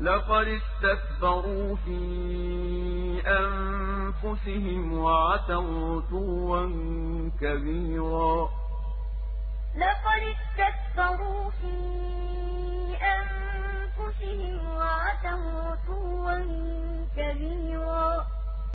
لَقَدِ اسْتَكْبَرُوا فِي أَنفُسِهِمْ وَعَتَوْا عُتُوًّا كَبِيرًا ۞ وَقَالَ الَّذِينَ لَا يَرْجُونَ لِقَاءَنَا لَوْلَا أُنزِلَ عَلَيْنَا الْمَلَائِكَةُ أَوْ نَرَىٰ رَبَّنَا ۗ لَقَدِ اسْتَكْبَرُوا فِي أَنفُسِهِمْ وَعَتَوْا عُتُوًّا كَبِيرًا